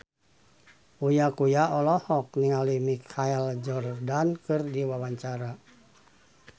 Uya Kuya olohok ningali Michael Jordan keur diwawancara